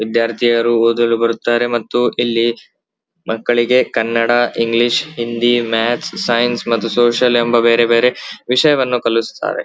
ವಿದ್ಯಾರ್ಥಿಯಾರು ಓದಲು ಬರುತ್ತಾರೆ ಮತ್ತುಇಲ್ಲಿ ಮಕ್ಕಳಿಗೆ ಕನ್ನಡ ಇಂಗ್ಲಿಷ್ ಹಿಂದಿ ಮಾಥ್ಸ್ ಮತ್ತೆ ಸೈನ್ಸ್ ಮತ್ತು ಸೋಶಿಯಲ್ ಎಂಬ ಬೇರೆ ಬೇರೆ ವಿಷಯವನ್ನು ಕಳಿಸುತ್ತಾರೆ --